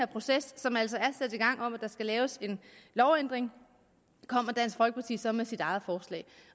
proces som altså er sat i gang om at der skal laves en lovændring kommer dansk folkeparti så med sit eget forslag